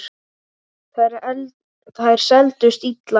Þær seldust illa.